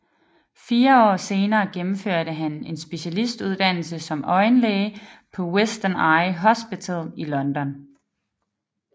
Fire år senere gennemførte han en specialistuddannelse som øjenlæge på Western Eye Hospital i London